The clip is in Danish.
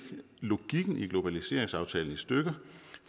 logikken i globaliseringsaftalen i stykker